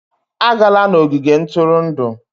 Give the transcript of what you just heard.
Agala n'ogige ntụrụndụ!